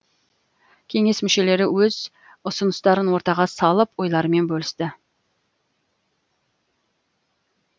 кеңес мүшелері өз ұсыныстарын ортаға салып ойларымен бөлісті